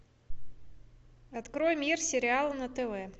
открой мир сериал на тв